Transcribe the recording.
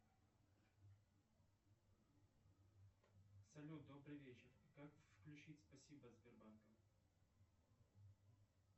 салют добрый вечер как включить спасибо от сбербанка